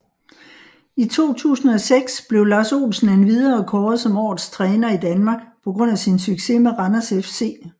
I 2006 blev Lars Olsen endvidere kåret som årets træner i Danmark på grund sin succes med Randers FC